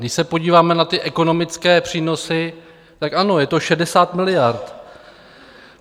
Když se podíváme na ty ekonomické přínosy, tak ano, je to 60 miliard.